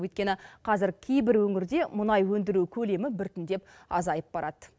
өйткені қазір кейбір өңірде мұнай өндіру көлемі біртіндеп азайып барады